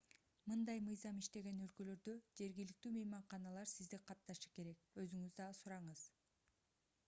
мындай мыйзам иштеген өлкөлөрдө жергиликтүү мейманканалар сизди катташы керек өзүңүз да сураңыз